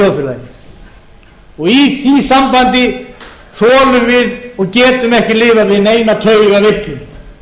þjóðfélaginu í því sambandi komum við og getum ekki lifað við neina taugaveiklun við munum þurfa að